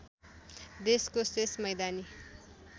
देशको शेष मैदानी